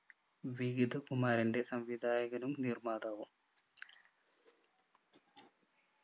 വികതകുമാൻ്റെ സംവിധായകനും നിർമാതാവും